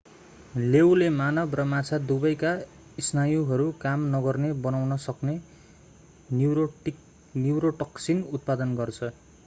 लेऊले मानव र माछा दुवैका स्नायुहरू काम नगर्ने बनाउन सक्ने न्युरोटोक्सिन उत्पादन गर्छ